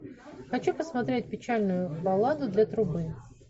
хочу посмотреть печальную балладу для трубы